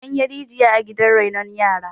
an yi rijiya a gidan renon yara